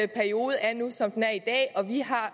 periode er nu som den er i dag og vi har